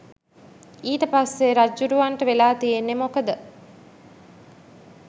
ඊට පස්සේ රජ්ජුරුවන්ට වෙලා තියෙන්නේ මොකද